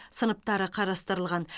сыныптары қарастырылған